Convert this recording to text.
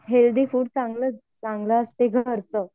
healthy food चांगलं चांगलं असतं घरचं